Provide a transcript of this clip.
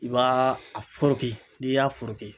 I b'a a foroki n'i y'a foroki